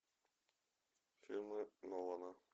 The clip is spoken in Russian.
фильмы нолана